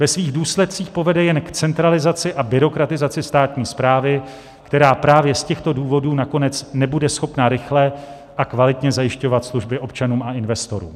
Ve svých důsledcích povede jen k centralizaci a byrokratizaci státní správy, která právě z těchto důvodů nakonec nebude schopna rychle a kvalitně zajišťovat služby občanům a investorům.